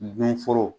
Donforo